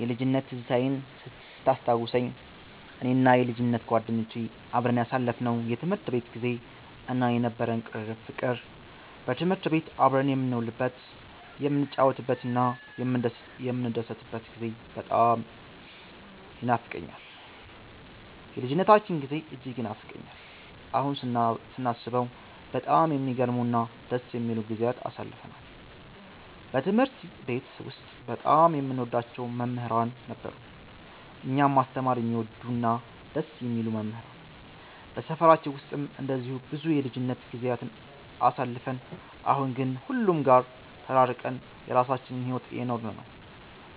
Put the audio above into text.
የልጅነት ትዝታዬን ስታስታውሰኝ፣ እኔና የልጅነት ጓደኞቼ አብረን ያሳለፍነው የትምህርት ቤት ጊዜ እና የነበረን ቅርርብ ፍቅር፣ በትምህርት ቤት አብረን የምንውልበት፣ የምንጫወትበትና የምንደሰትበት ጊዜ በጣም ይኖፋቀኛል። የልጅነታችን ጊዜ እጅግ ይናፍቀኛል። አሁን ስናስበው በጣም የሚገርሙ እና ደስ የሚሉ ጊዜያትን አሳልፈናል። በትምህርት ቤት ውስጥ በጣም የምንወዳቸው መምህራን ነበሩን፤ እኛን ማስተማር የሚወዱ እና ደስ የሚሉ መምህራን። በሰፈራችን ውስጥም እንደዚሁ ብዙ የልጅነት ጊዜያትን አሳልፈን፣ አሁን ግን ሁሉም ጋር ተራርቀን የራሳችንን ሕይወት እየኖርን ነው።